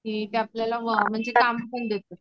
की आपल्याला म्हणजे काम पण देतात.